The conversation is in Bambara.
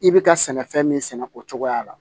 I bɛ ka sɛnɛfɛn min sɛnɛ o cogoya la